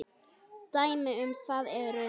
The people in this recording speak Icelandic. Dæmi um það eru